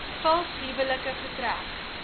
vals huwelike getrek